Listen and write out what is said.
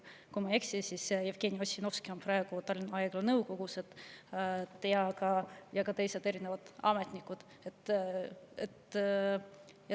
Kui ma ei eksi, siis Jevgeni Ossinovski on praegu Tallinna Haigla nõukogus, ja ka teised ametnikud.